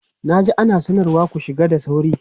Na ji ana sanarwa "ku shiga da sauri"!